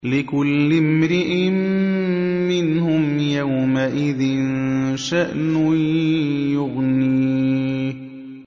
لِكُلِّ امْرِئٍ مِّنْهُمْ يَوْمَئِذٍ شَأْنٌ يُغْنِيهِ